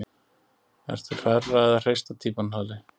Ertu hrærða eða hrista týpan Palli?